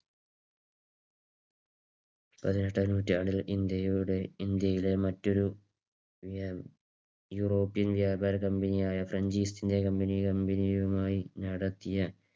പതിനെട്ടാം നൂറ്റാണ്ടിൽ ഇന്ത്യയിലെ മറ്റൊരു യൂറോപ്യൻ വ്യാപാര company യുമായി french east india company യുമായി നടത്തിയ